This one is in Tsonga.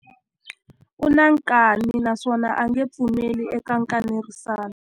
U na nkani naswona a nge pfumeli eka nkanerisano.